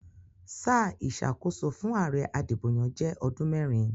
Sáà ìsàkóso fún àare adìbòyàn jé odún mérin